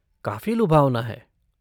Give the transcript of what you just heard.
काफी लुभावना है।